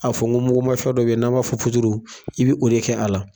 A fɔ n ko muguma fɛn dɔ bɛ yen n'an b'a fɔ puturu i bɛ o de kɛ a la.